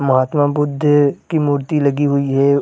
महत्मा बुद्ध की मूर्ति लगी हुई है।